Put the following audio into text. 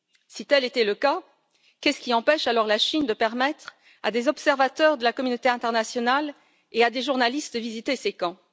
Si tel était le cas, qu'est ce qui empêche alors la Chine de permettre à des observateurs de la communauté internationale et à des journalistes de visiter ces camps?